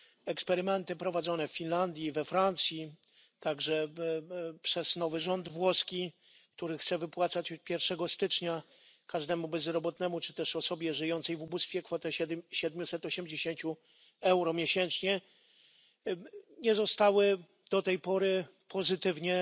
Eksperymenty prowadzone w Finlandii, we Francji, także przez nowy rząd włoski, który chce wypłacać od 1 stycznia każdemu bezrobotnemu czy też osobie żyjącej w ubóstwie kwotę 780 euro miesięcznie, nie zostały do tej pory ocenione pozytywnie.